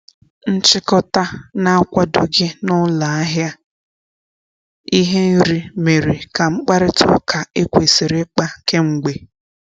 Nchikota na-akwadoghị na ụlọ ahịa ihe nri mere ka mkparịta ụka ekwesiri ikpa k'emgbe.